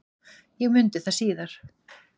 Ég mundi það síðar.